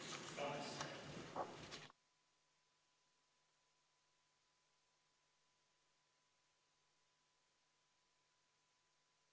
Istungi lõpp kell 15.59.